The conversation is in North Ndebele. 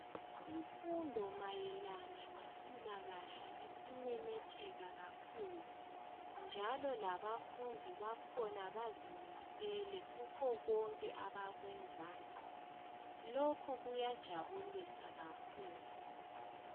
Imfundo mayelana ngempilakahle isimemetheka kakhulu. Njalo labafundi bakhona bazimisele kukho konke abakwenzayo lokhu kuyajabulisa kakhulu.